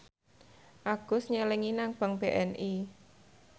Agus nyelengi nang bank BNI